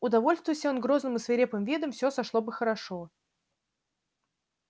удовольствуйся он грозным и свирепым видом всё сошло бы хорошо